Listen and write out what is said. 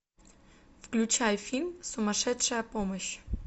включай фильм сумасшедшая помощь